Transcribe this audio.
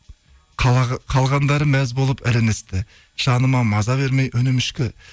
қалғандары мәз болып іріністі жаныма маза бермей үнім өшкі